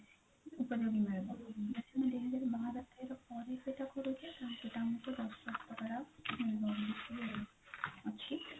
investment ଯଦି ବାର ତେର ପରେ ସେଟା କରୁଛୁ ଅଛି